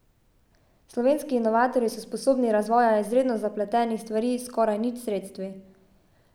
Slovenski inovatorji so sposobni razvoja izredno zapletenih stvari s skoraj nič sredstvi.